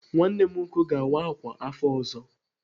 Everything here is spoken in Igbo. Nwanne m nwoke ga-awa ákwà afọ ọzọ.